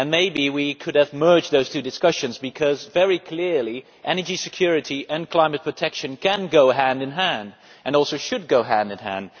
Maybe we could have merged those two discussions because, very clearly, energy security and climate protection can and should go hand in hand.